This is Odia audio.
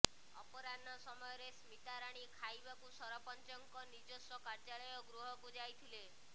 ଅପରାହ୍ନ ସମୟରେ ସ୍ମିତାରାଣୀ ଖାଇବାକୁ ସରପଞ୍ଚଙ୍କ ନିଜସ୍ୱ କାର୍ଯ୍ୟାଳୟ ଗୃହକୁ ଯାଇଥିଲେ